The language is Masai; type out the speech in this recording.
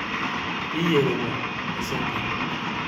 Kiyerita isinkirr.